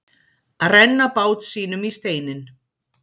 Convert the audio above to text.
Að renna bát sínum í steininn